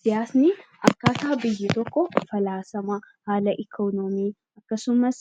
Siyaasni akkaataa biyyi tokko falaasama , haala ikoonoomii akkasumas